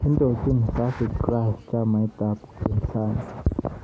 Indochin Tsavigrai chamait ab upinzani